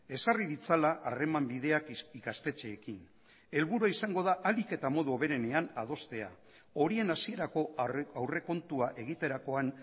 ezarri ditzala harreman bideak ikastetxeekin helburua izango da ahalik eta modu hoberenean adostea horien hasierako aurrekontua egiterakoan